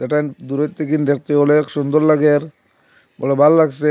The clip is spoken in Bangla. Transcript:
এটা দূরের থেকেন দেখতে অনেক সুন্দর লাগের বলে ভাললাগসে।